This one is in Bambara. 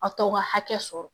A t'o ka hakɛ sɔrɔ